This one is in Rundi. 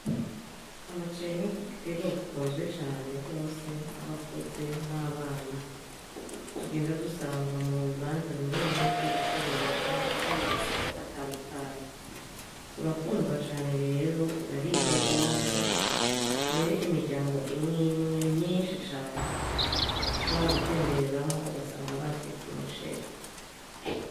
Umuceri ni igitegwa gikunzwe cane gose n'abakuze n'abana tugenda dusanga mubibanza bimwe bimwe vyubucuruzi nko mumasoko atandukanye. urakundwa cane rero uraribwa gose, mbere imiryango imwe imwe myinshi cane ushobora gutembereramwo ugasanga batetse umuceri.